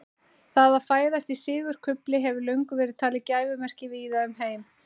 Það að fæðast í sigurkufli hefur löngum verið talið gæfumerki víða um heim.